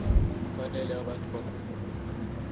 kufanele abantu bakhumbule